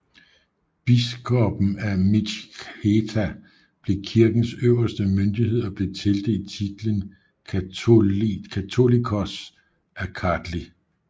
Biskopen af Mtskheta blev kirkens øverste myndighed og blev tildelt titlen Catholicos af Kartli